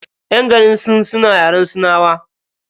Ƴan garin sin suna yaren sinawa.